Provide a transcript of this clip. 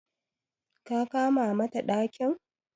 ka kama mata dakin?